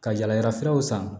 Ka yala yalafuraw san